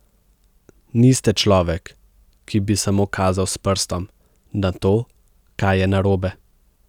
Niste človek, ki bi samo kazal s prstom, na to, kaj je narobe ...